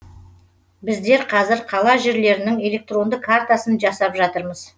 біздер қазір қала жерлерінің электронды картасын жасап жатырмыз